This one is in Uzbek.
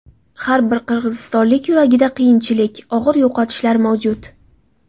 Har bir qirg‘izistonlik yuragida qiyinchilik, og‘ir yo‘qotishlar mavjud.